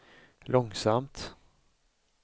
långsamt